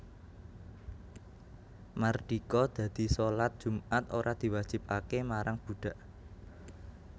Mardika dadi shalat Jumat ora diwajibake marang budhak